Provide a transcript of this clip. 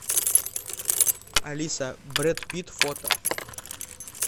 алиса брэд питт фото